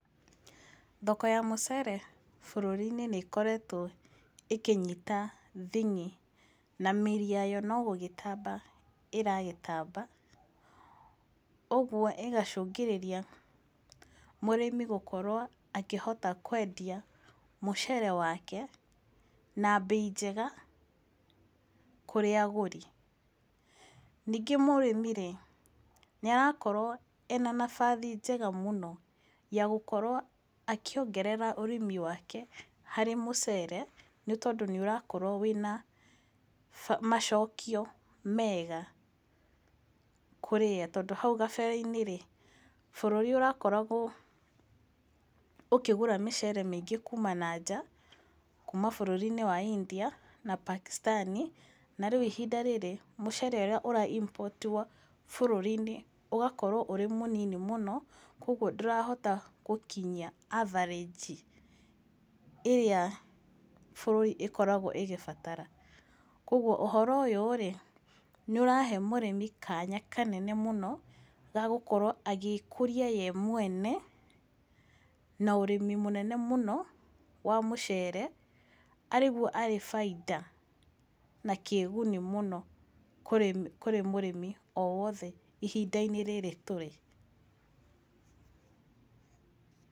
Thoko ya mũcere bũrũri-inĩ nĩ ĩkoretwo ĩkĩnyita thing'i, na mĩri yayo nogũgĩtamba iragĩtamba, ũguo ĩgacũngĩrĩria mũrĩmi gukorwo akĩhota kwendia mũcere wake, na mbei njega, kũrĩ agũri. Ningĩ mũrĩmi-rĩ, nĩ arakorwo ena nabathi njega mũno ya gũkorwo akĩongerera ũrĩmi wake harĩ mũcere, nĩ tondũ nĩ ũrakora wĩna macokio mega kũrĩ we. Tondũ hau kabere-inĩ, bũrũri ũrakoragwo ũkĩgũra mĩcere mĩingĩ kuuma nanja, kuuma bũrũri-inĩ wa India na Pakistan, na rĩu ihinda rĩrĩ mũcere ũrĩa ũra import wo bũrũri-inĩ ũgakorwo ũrĩ mũnini mũno, koguo ndũrahota gũkinyia avarege, ĩrĩa bũrũri ũgĩkoragwo ũgĩbatara. Koguo ũhoro ũyũ nĩ ũrahe mũrĩmi kanya kanene mũno, gagũkorwo agĩkũria we mwene, na ũrĩmi mũnene mũno, wa mũcere, arĩguo arĩ bainda na kĩĩguni mũno, kũrĩ mũrĩmi o wothe ihinda-inĩ rĩrĩ tũrĩ.